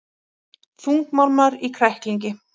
Þungmálmar í kræklingi